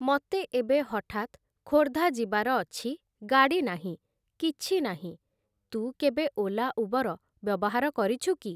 ମତେ ଏବେ ହଠାତ୍‌ ଖୋର୍ଦ୍ଧା ଯିବାର ଅଛି ଗାଡ଼ି ନାହିଁ, କିଛି ନାହିଁ । ତୁ କେବେ ଓଲା ଉବର ବ୍ୟବହାର କରିଛୁ କି?